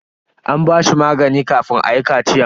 An ba shi magani kafin ayi kachiyan.